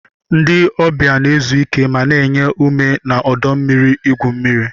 Ndị ọbịa na-ezu ike ma na-enye ume na ọdọ mmiri igwu mmiri.